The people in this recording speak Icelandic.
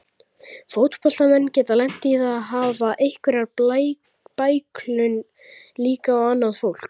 Fótboltamenn geta lent í að hafa einhverja bæklun líka og annað fólk.